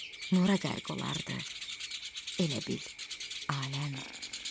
Nura qərq olardı elə bil aləm.